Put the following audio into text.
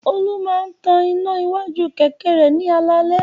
Olú máa tan iná iwájú kẹ̀kẹ́ rẹ̀ ní alaalẹ́.